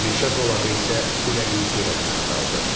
Meşə zolağı isə küləyin sürətini azaldır.